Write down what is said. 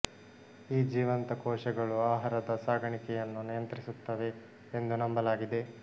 ಈ ಜೀವಂತ ಕೋಶಗಳು ಆಹಾರದ ಸಾಗಾಣಿಕೆಯನ್ನು ನಿಯಂತ್ರಿಸುತ್ತವೆ ಎಂದು ನಂಬಲಾಗಿದೆ